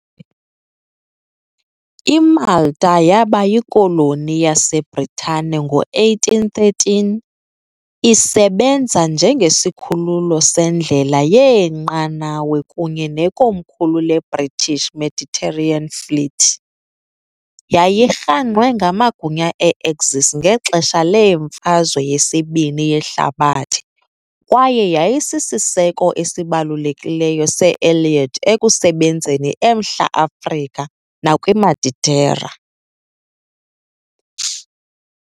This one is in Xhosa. IMalta yaba yikoloni yaseBritane ngo-1813, isebenza njengesikhululo sendlela yeenqanawa kunye nekomkhulu leBritish Mediterranean Fleet . Yayirhangqwe ngamagunya e-Axis ngexesha leMfazwe yesibini yeHlabathi kwaye yayisisiseko esibalulekileyo se-Allied ekusebenzeni eMntla Afrika nakwiMeditera.